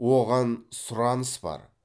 оған сұраныс бар